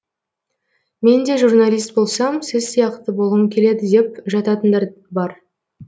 мен де журналист болсам сіз сияқты болғым келеді деп жататындар бар